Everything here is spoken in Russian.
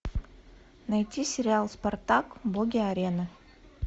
найти сериал спартак боги арены